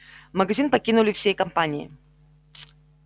магазин покинули всей компанией